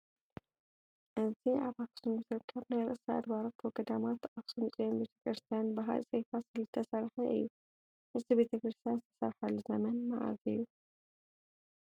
እዚ ኣብ ኣኽሱም ዝርከብ ናይ ርእሰ ኣድባራት ወገዳማት ኣኽሱም ፅዮን ቤተ ክርስቲያን ብሃፀይ ፋሲል ዝተሰርሓ እዩ፡፡ እዚ ቤተ ክርስቲያን ዝተሰርሓሉ ዘመን መዓዝ እዩ?